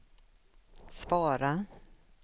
svara